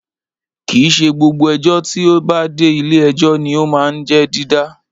Kìí ṣe gbogbo ẹjọ́ tí ó bá dé ilé ẹjọ́ ní o máa ń jẹ́ dídá